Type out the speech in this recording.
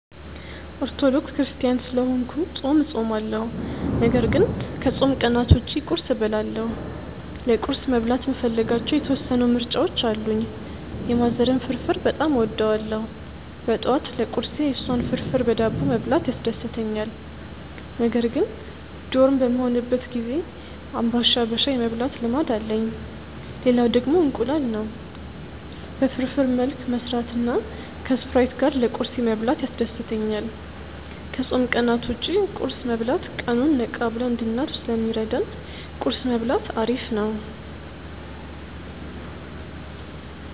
ኦርቶዶክስ ክርስትያን ስለሆንኩ ጾም እጾማለሁ ነገር ግን ከጾም ቀናት ውጪ ቁርስ እበላለሁ። ለቁርስ መብላት የምፈልጋቸው የተወሰኑ ምርጫዎች አሉኝ። የማዘርን ፍርፍር በጣም እወደዋለሁ ጠዋት ለቁርሴ የሷን ፍርፍር በዳቦ መብላት ያስደስተኛል። ነገር ግን ዶርም በምሆንበት ጊዜ ግቢ አንባሻ በሻይ የመብላት ልማድ አለኝ። ሌላው ደግሞ እንቁላል ነው። በፍርፍር መልክ መስራትና ከስፕራይት ጋር ለቁርሴ መብላት ያስደስተኛል። ከጾም ቀናት ውጭ ቁርስ መብላት ቀኑን ነቃ ብለን እንድናልፍ ስለሚረዳን ቁርስ መብላት አሪፍ ነው።